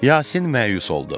Yasin məyus oldu.